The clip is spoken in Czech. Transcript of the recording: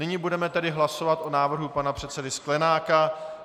Nyní budeme tedy hlasovat o návrhu pana předsedy Sklenáka.